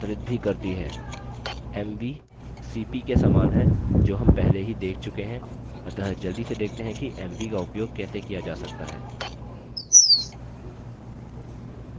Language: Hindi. mv cp के समान है जो हम पहले ही देख चुके हैं अतः जल्दी से देखते हैं कि mv का उपयोग कैसे किया जा सकता है